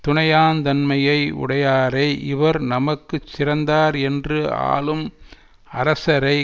துணையாந் தன்மையை உடையாரை இவர் நமக்கு சிறந்தார் என்று ஆளும் அரசரை